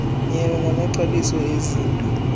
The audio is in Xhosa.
nyewe ngamaxabiso ezinto